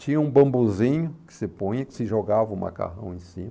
Tinha um bambuzinho que você põe, que você jogava o macarrão em cima.